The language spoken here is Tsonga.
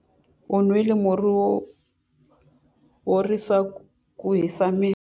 U nwile murhi wo horisa ku hisa miri.